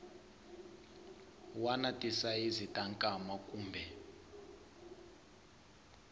wana tisayizi ta nkwama kumbe